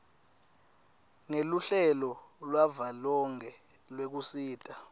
ngeluhlelo lwavelonkhe lwekusita